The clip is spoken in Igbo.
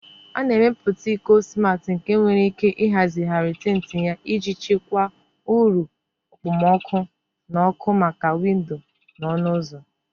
A na-emepụta iko smati nke nwere ike ịhazigharị tint ya iji chịkwaa uru okpomọkụ na ọkụ maka windo na ọnụ ụzọ.